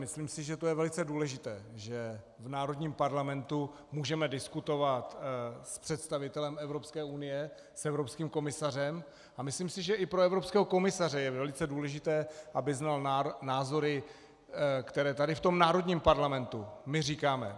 Myslím si, že to je velice důležité, že v národním parlamentu můžeme diskutovat s představitelem Evropské unie, s evropským komisařem, a myslím si, že i pro evropského komisaře je velice důležité, aby znal názory, které tady v tom národním parlamentu my říkáme.